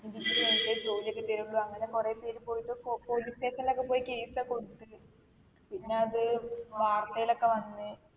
degree കയിഞ്ഞിട്ടെ ജോലി ഒക്കെ തെരുള്ളൂ അങ്ങനെ കുറേ പേര് പോയിട്ട് പൊ police station ലൊക്കെ പോയി case ഒക്കെ കൊടുത്ത് പിന്നെ അത് വാർതേലൊക്കെ വന്ന്